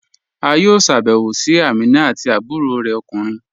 A yọ̀ọ́ sábẹwò sí Àmínà àti àbúrọ̀ rẹ̀ okùnrin